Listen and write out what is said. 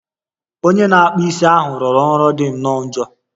Onye na-akpụ isi ahụ rụrụ ọrụ dị nnọọ njọ